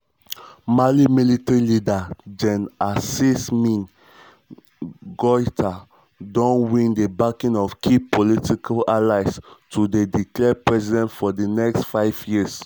mali military leader gen assimi goïta don win di backing of key political allies to dey declared president for di next five years. five years.